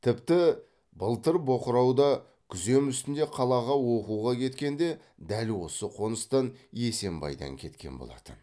тіпті былтыр боқырауда күзем үстінде қалаға оқуға кеткенде дәл осы қоныстан есембайдан кеткен болатын